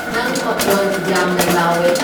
ꯅꯪ ꯃꯈꯣꯟ ꯌꯥꯝꯅ ꯂꯥꯎꯋꯦ